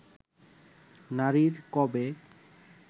নারীর কবে